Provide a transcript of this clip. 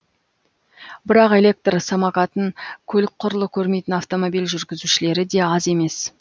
бірақ электр самокатын көлік құрлы көрмейтін автомобиль жүргізушілері де аз емес